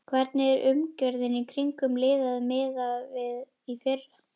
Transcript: Hvernig er umgjörðin í kringum liðið miðað við í fyrra?